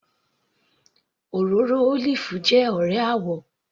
Òróró olive jẹ́ ọ̀rẹ́ àwò